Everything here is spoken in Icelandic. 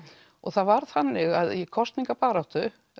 og það var þannig að í kosningabaráttu